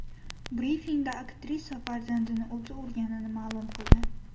Brifingda aktrisa farzandini o‘zi urganini ma’lum qildi .